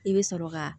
I bɛ sɔrɔ ka